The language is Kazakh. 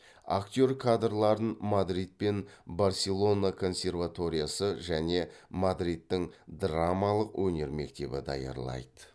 актер кадрларын мадрид пен барселона консерваториясы және мадридтің драм өнер мектебі даярлайды